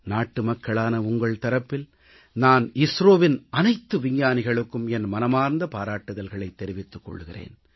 நாட்டுமக்களான உங்கள் தரப்பில் நான் இஸ்ரோவின் அனைத்து விஞ்ஞானிகளுக்கும் என் மனமார்ந்த பாராட்டுதல்களைத் தெரிவித்துக் கொள்கிறேன்